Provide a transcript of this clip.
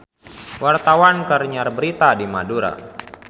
Wartawan keur nyiar berita di Madura